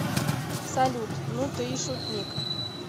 салют ну ты и шутник